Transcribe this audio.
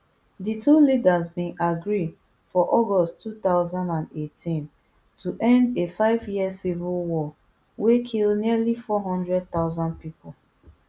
di two leaders bin agree for august two thousand and eighteen to end a fiveyear civil war wey kill nearly four hundred thousand pipo